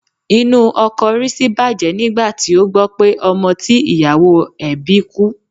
Inú ọkọ̀ Rísí bàjẹ́ nígbà tí ó gbọ́ pé ọmọ tí ìyàwó ẹ̀ bí kú